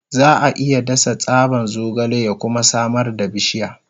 Za a iya dasa tsaban zogale ya kuma samar da bishiya.